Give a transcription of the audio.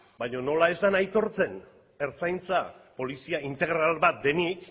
baino nola ez den aitortzen ertzaintza polizia integral bat denik